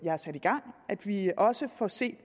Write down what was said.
har sat i gang at vi også får set